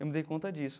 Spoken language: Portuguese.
Eu me dei conta disso.